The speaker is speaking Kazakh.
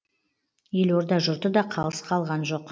елорда жұрты да қалыс қалған жоқ